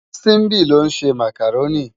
Simbi ló nsé mákáróni